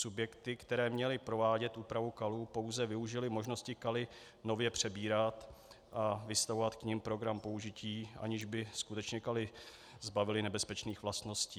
Subjekty, které měly provádět úpravu kalů, pouze využily možnosti kaly nově přebírat a vystavovat k nim program použití, aniž by skutečně kaly zbavily nebezpečných vlastností.